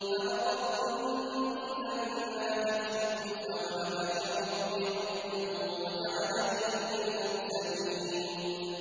فَفَرَرْتُ مِنكُمْ لَمَّا خِفْتُكُمْ فَوَهَبَ لِي رَبِّي حُكْمًا وَجَعَلَنِي مِنَ الْمُرْسَلِينَ